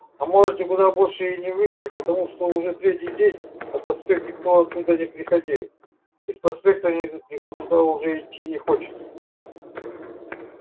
а может никуда больше и не вышли потому что уже третий день на проспект никто оттуда не приходил и с проспекта никто туда уже идти не хочет